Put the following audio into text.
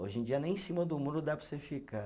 Hoje em dia nem em cima do muro dá para você ficar.